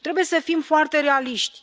Trebuie să fim foarte realiști.